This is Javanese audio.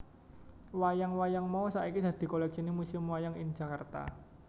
Wayang wayang mau saiki dadi koleksine Museum Wayang ing Jakarta